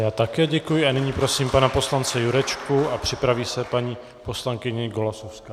Já také děkuji a nyní prosím pana poslance Jurečku a připraví se paní poslankyně Golasowská.